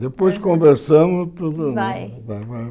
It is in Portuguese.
Depois conversamos, tudo... Vai.